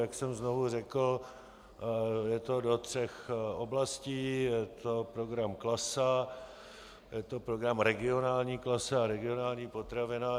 Jak jsem znovu řekl, je to do tří oblastí - je to program Klasa, je to program Regionální klasa a Regionální potravina.